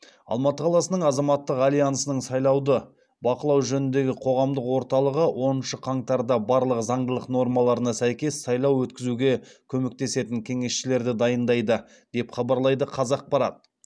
алматы қаласының азаматтық альянсының сайлауды бақылау жөніндегі қоғамдық орталығы оныншы қаңтарда барлық заңдылық нормаларына сәйкес сайлау өткізуге көмектесетін кеңесшілерді дайындайды деп хабарлайды қазақпарат